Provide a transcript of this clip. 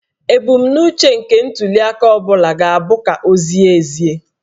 Ebumnuche nke ntuliaka ọ bụla ga-abụ ka ọ zie ezie